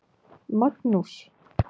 Magnús